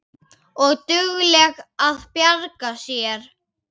Og dugleg að bjarga sér.